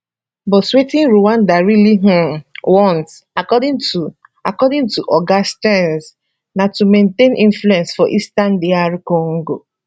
but wetin rwanda really um want according to according to oga stearns na to maintain influence for eastern dr congo